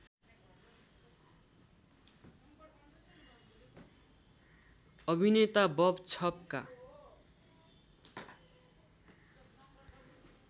अभिनेता बब छपका